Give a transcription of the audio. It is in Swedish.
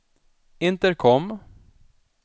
intercom